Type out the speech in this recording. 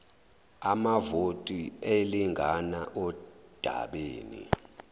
amavoti elingana ondabeni